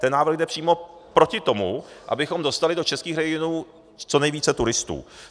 Ten návrh jde přímo proti tomu, abychom dostali do českých regionů co nejvíce turistů.